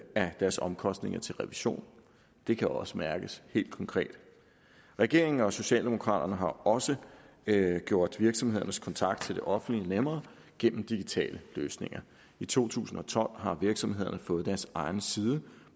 af deres omkostninger til revision det kan også mærkes helt konkret regeringen og socialdemokraterne har også gjort virksomhedernes kontakt til det offentlige nemmere gennem digitale løsninger i to tusind og tolv har virksomhederne fået deres egen side